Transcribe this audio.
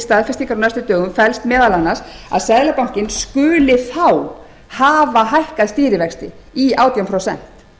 staðfestingar á næstu dögum felst meðal annars að seðlabankinn skuli þá hafa hækkað stýrivexti í átján prósent